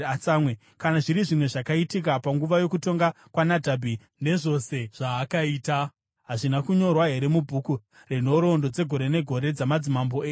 Kana zviri zvimwe zvakaitika panguva yokutonga kwaNadhabhi, nezvose zvaakaita, hazvina kunyorwa here mubhuku renhoroondo dzegore negore dzamadzimambo eIsraeri?